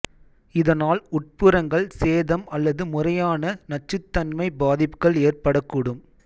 இதனால் உட்புறங்கள் சேதம் அல்லது முறையான நச்சுத்தன்மை பாதிப்புகள் ஏற்படக்கூடும்